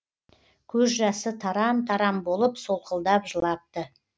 көз жасы тарам тарам болып солқылдап жылапты